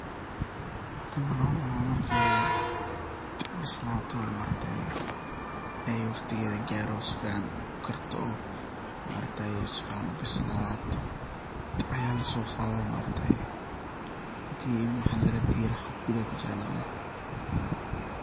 Tani waxan ucuna markay bislato oo maaragtaye ay waqtigeda garo sifican ukarto oo si fican ubislato aya lasoqadaye maaragtaye inti madaxa lagadiro waxa gudaha lagacuna.